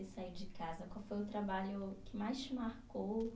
Que você saiu de casa? Qual foi o trabalho que mais te marcou?